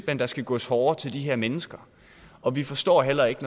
at der skal gås hårdere til de her mennesker og vi forstår heller ikke at